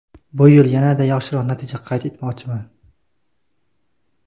Bu yil yanada yaxshiroq natija qayd etmoqchiman.